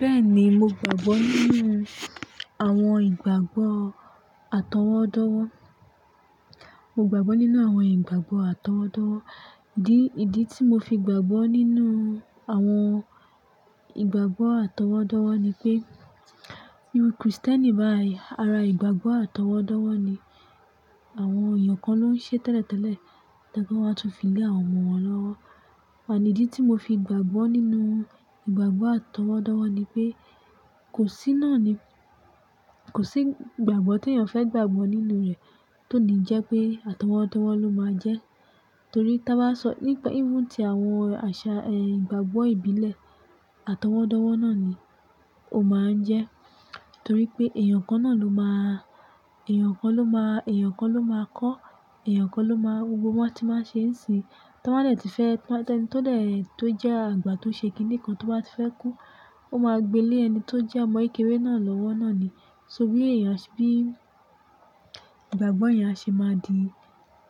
Bẹ́ẹ̀ni, mo gbàgbọ́ nínú àwọn ìgbàgbọ́ àtọwọ́dọ́wọ́. Mo gbàgbọ́ nínú àwọn ìgbàgbọ́ àtọwọ́dọ́wọ́. Dí, ìdí tí mo fi gbàgbọ́ nínú àwọn ìgbàgbọ́ àtọwọ́dọ́wọ́ ni pé bí Kristẹni bá àì ara ìgbàgbọ́ àtọwọ́dọ́wọ́ ni àwọn èèyàn kan ló ń ṣe tẹ́lẹ̀tẹ́lẹ̀, tẹ́lẹ̀ kí wọ́n máa tún fi lé àwọn ọmọ wọn lọ́wọ́. Ànídí tí mo fi gbàgbọ́ nínú ìgbàgbọ́ àtọwọ́dọ́wọ́ ni pé kò sí náà ni, kò sí ìgbàgbọ́ tí èèyàn fẹ́ gbàgbọ́ nínú rẹ̀ tó ní jẹ́ pé àtọwọ́dọ́wọ́ ló máa jẹ́. Torí tí a bá sọ nípa, even ti àwọn àṣà, ẹ, ìgbàgbọ́ ìbílẹ̀, àtọwọ́dọ́wọ́ náà ni ó máa ń jẹ́. Torí pé èèyàn kan náà ló máa, èèyàn kan ló máa, èèyàn kan ló máa kọ́, èèyàn kan ló máa, gbogbo wọ́n ti máa ṣe ń sí Tí wọ́n bá dẹ̀ ti fẹ́, tí ẹni tó dẹ̀ tó jẹ́ àgbà tó ṣe ki kinikan tó bá ti fẹ́ kú, ó máa gbé lé ẹni tó jẹ́ ọmọ kékeré náà lọ́wọ́ náà ni. So bí èèyàn, bí ìgbàgbọ́ ẹ̀yàn ṣe máa di